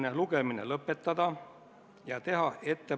Nii et meil ei ole põhjust seda kahtluse alla panna.